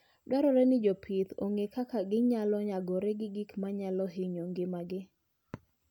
Dwarore ni jopith ong'e kaka ginyalo nyagore gi gik manyalo hinyo ngimagi.